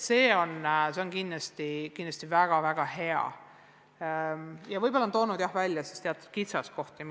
See on kindlasti väga hea ja võib-olla toonud välja teatud kitsaskohad.